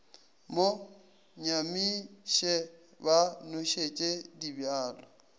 mo nyamiše ba nošetša dibjalo